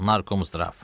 Narkomzdrav.